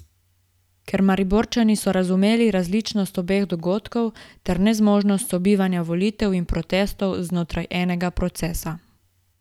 Ker Mariborčani so razumeli različnost obeh dogodkov ter nezmožnost sobivanja volitev in protestov znotraj enega procesa.